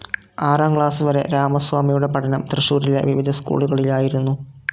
ആറാം ക്ലാസ്‌ വരെ രാമസ്വാമിയുടെ പഠനം തൃശ്ശൂരിലെ വിവിധ സ്‌കൂളുകളിലായിരുന്നു.